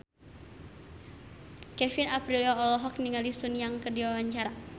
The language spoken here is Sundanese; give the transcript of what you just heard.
Kevin Aprilio olohok ningali Sun Yang keur diwawancara